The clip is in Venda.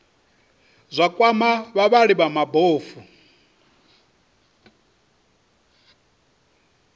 zwa kwama vhavhali vha mabofu